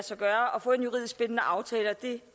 sig gøre at få en juridisk bindende aftale og det